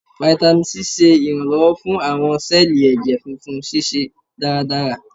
Fáítámì Sí ṣe iranlọwọ fún awọn sẹẹli ẹjẹ funfun ṣiṣẹ daradara.